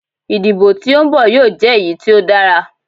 Idibo ti o nbọ yoo jẹ eyi ti o dara